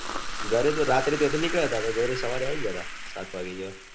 ઘરે તો રાત્રે ત્યોથી નીકળ્યા તા તો ઘરે સવારે આયી ગયા હતા સાત વાગે જેવા